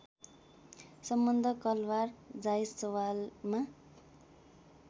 सम्बन्ध कलवार जायसवालमा